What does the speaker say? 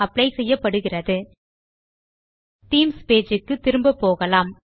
apply செய்யப்படுகிறது themes page க்கு திரும்ப போகலாம்